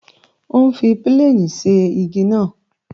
Ó ń fi pílènì ṣe igi náà